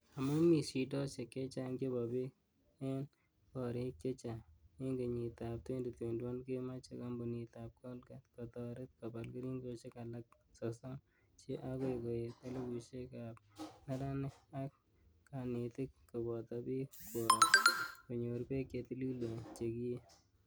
Amu mii shidoshek chechang chebo pek ing korek chechang, ing kenyit ap 2021 komeche kampunit ap colgate kotaret kopal keringoshek alak 30 che akoi koet elipushek ap neranik, ak kanetik kopoto pik kwook konyor pek che tililen che kiee.